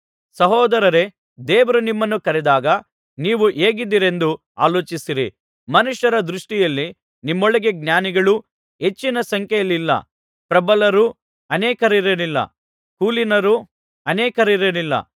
ಸಹೋದರರೇ ದೇವರು ನಿಮ್ಮನ್ನು ಕರೆದಾಗ ನೀವು ಹೇಗಿದ್ದೀರೆಂದು ಆಲೋಚಿಸಿರಿ ಮನುಷ್ಯರ ದೃಷ್ಟಿಯಲ್ಲಿ ನಿಮ್ಮೊಳಗೆ ಜ್ಞಾನಿಗಳೂ ಹೆಚ್ಚಿನ ಸಂಖ್ಯೆಯಲ್ಲಿಲ್ಲ ಪ್ರಬಲರೂ ಅನೇಕರಿರಲಿಲ್ಲ ಕುಲೀನರೂ ಅನೇಕರಿರಲಿಲ್ಲ